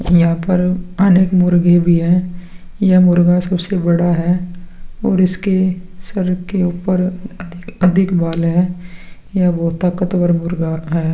यहाँ पर अनेक मुर्गी भी है यह मुर्गा सबसे बड़ा है और इसके सर के ऊपर अधिक बाल है यह बहुत ताकतवर मुर्गा है ।